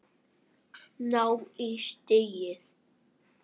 Ná í stigið.